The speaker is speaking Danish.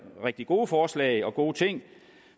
rigtig gode forslag og gode ting